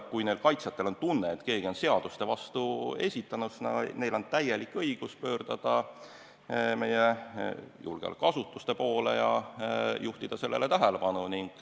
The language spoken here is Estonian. Kui kaitsjatel on tunne, et keegi on seaduste vastu eksinud, siis on neil täielik õigus pöörduda meie julgeolekuasutuste poole ja juhtida sellele tähelepanu.